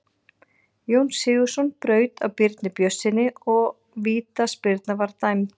Jón Sigurðsson braut á Birni Björnssyni og vítaspyrna var dæmd.